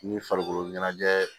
Ni farikolo ɲɛnajɛ